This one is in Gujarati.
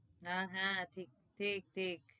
ના હા ઠીક ઠીક